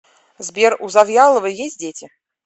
сбер у завьяловой есть дети